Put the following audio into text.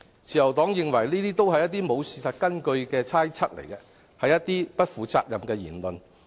自由黨認為這些都是欠缺事實根據的猜測，是不負責的言論。